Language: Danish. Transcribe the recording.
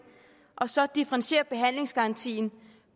og så differentiere behandlingsgarantien